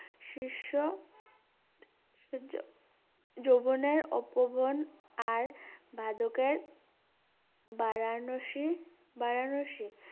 শীর্ষ যৌ~যৌবনের অপবন আর বাদকের বারাণসীর বারাণসী